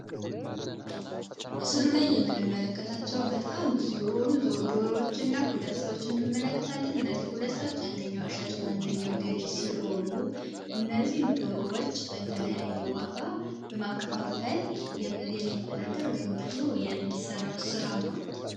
ምስሉ ላይ የምንመለከታቸው በጣም ብዙ የሆኑዎችና ሁለት ሰዎች አንደኛው አሻጭና አንደኛው ገዢ ሲሆኑ እነዚህን ዶሮዎች በተለያየ የዋጋ በማከፋፈል የሚተዳደር ወይም ደግሞ የሚሰራው ስራ ነው።